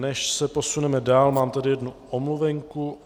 Než se posuneme dál, mám tady jednu omluvenku.